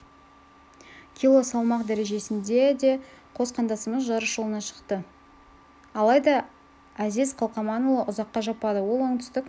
кило салмақ дәрежесінде де қос қандасымыз жарыс жолына шықты алайда әзиз қалқаманұлы ұзаққа жаппады ол оңтүстік